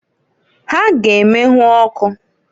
Ha ga- emenwu ọkụ.